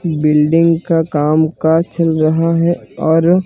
building का काम काज चल रहा है और--